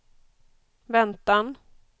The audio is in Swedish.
väntan